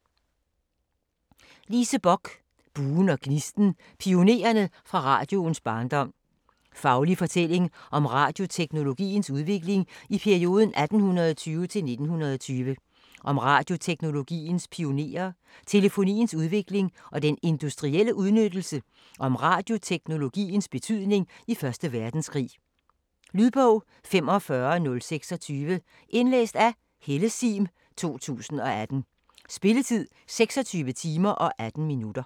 Bock, Lise: Buen og gnisten: pionererne fra radioens barndom Faglig fortælling om radioteknologiens udvikling i perioden 1820-1920. Om radioteknologiens pionerer, telefoniens udvikling og den industrielle udnyttelse og om radioteknologiens betydning i første verdenskrig. Lydbog 45026 Indlæst af Helle Sihm, 2018. Spilletid: 26 timer, 18 minutter.